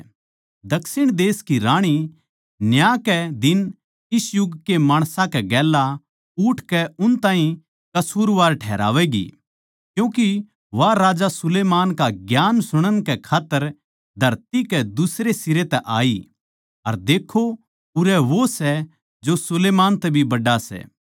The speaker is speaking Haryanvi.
दक्षिण देश की राणी न्याय कै दिन इस युग के माणसां कै गेल्या उठकै उन ताहीं कसूरवार ठहरावैगी क्यूँके वा सुलैमान का ज्ञान सुणन कै खात्तर धरती कै दुसरे सिरे तै आई अर देक्खो उरै वो सै जो सुलैमान तै भी बड्ड़ा सै